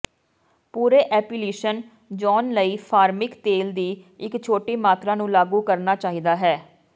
ਪੂਰੇ application zone ਲਈ ਫਾਰਮਿਕ ਤੇਲ ਦੀ ਇੱਕ ਛੋਟੀ ਮਾਤਰਾ ਨੂੰ ਲਾਗੂ ਕਰਨਾ ਚਾਹੀਦਾ ਹੈ